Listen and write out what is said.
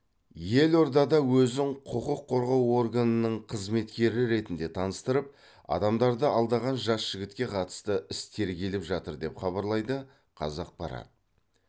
елордада өзін құқық қорғау органының қызметкері ретінде таныстырып адамдарды алдаған жас жігітке қатысты іс тергеліп жатыр деп хабарлайды қазақпарат